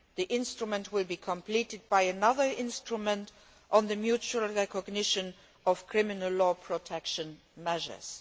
That instrument will be complemented by another instrument on the mutual recognition of criminal law protection measures.